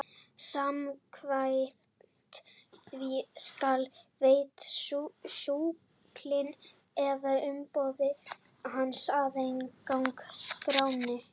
Samkvæmt því skal veita sjúklingi eða umboðsmanni hans aðgang að skránni.